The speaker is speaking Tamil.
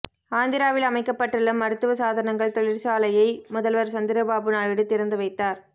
ஆந்திராவில் அமைக்கப்பட்டுள்ள மருத்துவ சாதனங்கள் தொழில்சாலையை முதல்வர் சந்திரபாபு நாயுடு திறந்து வைத்தார்